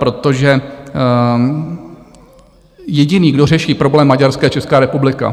Protože jediný, kdo řeší problém Maďarska, je Česká republika.